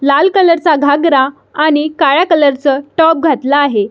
लाल कलर चा घागरा आणि काळ्या कलर च टॉप घातला आहे.